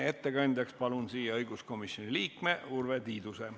Ettekandjaks palun siia õiguskomisjoni liikme Urve Tiiduse.